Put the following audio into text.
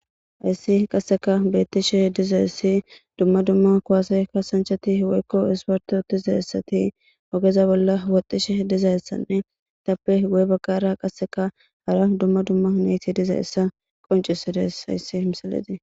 Hayssi qasseka bettishe diza essi dumma dumma kuwaseykka sanchati woykko isparto tiza essati ogeza bolla woxxishe dizayessanne tappe gu'e baggara qasseka hara dumma dumma neyti diza essa qoncisides hayssi himsaleti.